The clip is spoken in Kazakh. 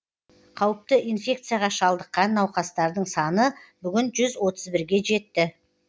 қауіпті инфекцияға шалдыққан науқастардың саны бүгін жүз отыз бірге жетті